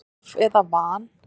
Of eða van?